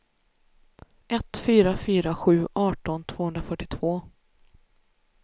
ett fyra fyra sju arton tvåhundrafyrtiotvå